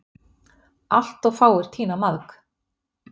Allt of fáir að tína maðk